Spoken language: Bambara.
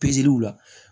la